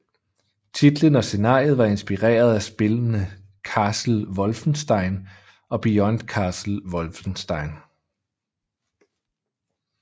Titlen og scenariet var inspireret af spillene Castle Wolfenstein og Beyond Castle Wolfenstein